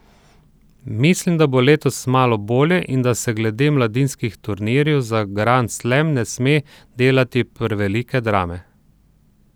Mislim, da bo letos malo bolje in da se glede mladinskih turnirjev za grand slam ne sme delati prevelike drame.